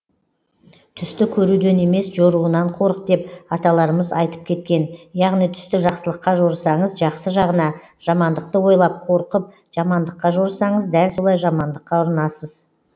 түсті көруден емес жоруынан қорық деп аталарымыз айтып кеткен яғни түсті жақсылыққа жорысаңыз жақсы жағына жамандықты ойлап қорқып жамандыққа жорысаңыз дәл солай жамандыққа ұрынасыз